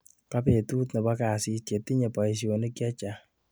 kabetut nebo kasit chetinye boisionik che chang